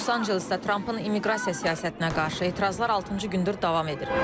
Los-Ancelesdə Trampın immiqrasiya siyasətinə qarşı etirazlar altıncı gündür davam edir.